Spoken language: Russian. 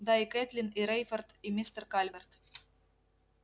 да и кэтлин и рейфорд и мистер калверт